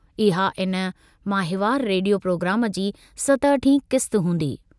इहा इन माहिवारु रेडियो प्रोग्राम जी सतहठीं क़िस्त हूंदी।